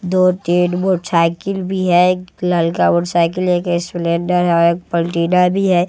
दो-तीन मोटसाइकिल भी है एक ललका मोटसाइकिल है एक स्प्लेंडर है एक पलटिना भी है।